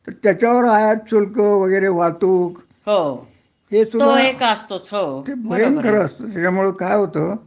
तर त्याच्यावर आयातशुल्क वगैरे वाहतूक हे सुद्धा ते भयंकर असत त्याच्यामुळं काय होत